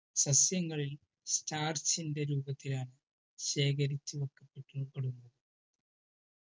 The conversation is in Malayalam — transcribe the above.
സസ്യങ്ങളിൽ startch ൻ്റെ രൂപത്തിലാണ് ശേഖരിച്ചു വെക്കപ്പെടുന്നത്